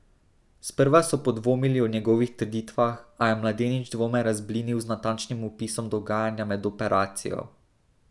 Sprva so podvomili o njegovih trditvah, a je mladenič dvome razblinil z natančnim opisom dogajanja med operacijo.